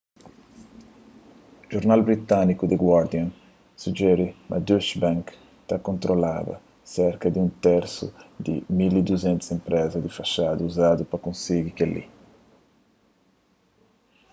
jornal britániku the guardian sujeri ma deutsche bank ta kontrolaba serka di un tersu di 1200 enprezas di faxada uzadu pa konsigi kel-li